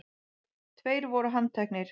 Tveir voru handtekni